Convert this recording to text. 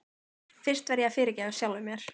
Fyrst verð ég að fyrirgefa sjálfum mér.